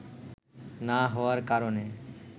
না হওয়ার কারণে